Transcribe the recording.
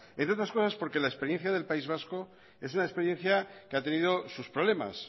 entre otras cosas porque la experiencia del país vasco es una experiencia que ha tenido sus problemas